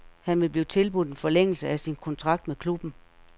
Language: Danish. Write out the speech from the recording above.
Han vil blive tilbudt en forlængelse af sin kontrakt med klubben.